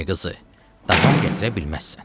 Əmi qızı, davam gətirə bilməzsən.